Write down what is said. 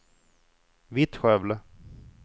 Vittskövle